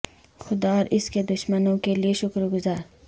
خدا اور اس کے دشمنوں کے لئے شکر گزار